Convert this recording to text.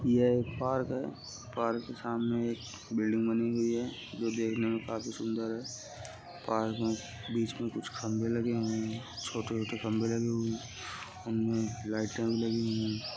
यह एक पार्क है। पार्क के सामने एक बिल्डिंग बनी हुई है जो देखने में काफी सुंदर है। पार्क में बीच में कुछ खंबे लगे हुए हैं छोटे-छोटे खंबे लगे हुए हैं उनमें लाइटें भी लगी हुई हैं।